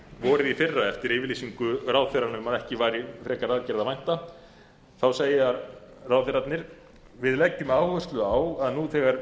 vorið í fyrra eftir yfirlýsingu ráðherranna um að ekki væri frekari aðgerða að vænta þá segja ráðherrarnir við leggjum áherslu á að nú þegar